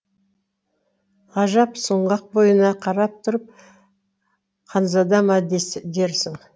ғажап сұңғақ бойына қарап тұрып ханзада ма дерсің